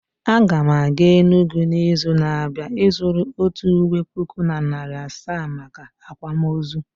Aga m aga Enugwu n'izu na-abịa ịzụrụ otu ụwe puku na narị asaa maka akwamụozụ